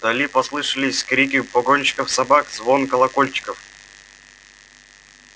вдали послышались крики погонщиков собак звон колокольчиков